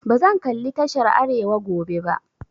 Bazan kalli tashar arewa gobe ba.